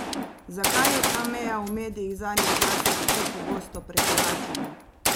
Zakaj je ta meja v medijih zadnje časa tako pogosto prekoračena?